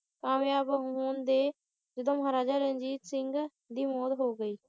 ਕਾਮਯਾਬ ਹੋਂਦੇ ਜਦੋਂ ਮਹਾਰਾਜਾ ਰਣਜੀਤ ਸਿੰਘ ਦੀ ਮੌਤ ਹੋ ਗਈ